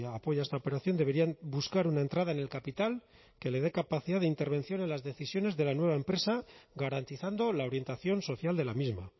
apoya esta operación deberían buscar una entrada en el capital que le dé capacidad de intervención en las decisiones de la nueva empresa garantizando la orientación social de la misma